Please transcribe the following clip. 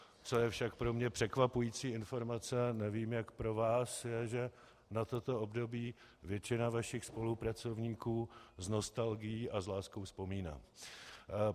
Co je však pro mě překvapující informace, nevím, jak pro vás, je, že na toto období většina vašich spolupracovníků s nostalgií a s láskou vzpomíná.